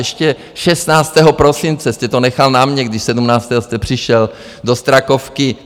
Ještě 16. prosince jste to nechal na mně, když 17. jste přišel do Strakovky.